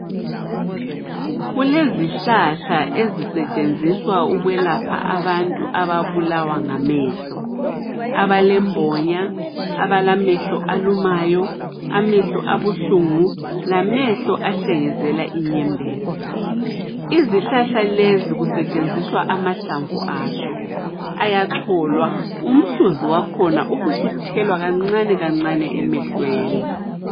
Kulezihlahla ezisetshenziswa ukwelapha abantu ababulawa ngamehlo. Abalembonya, abalamehlo alumayo, amehlo abuhlungu lamehlo ahlengezela inyembezi. Izihlahla lezi kusetshenziswa amahlamvu azo, ayacholwa umhluzi wakhona ubusuthelwa kancane kancane emehlweni.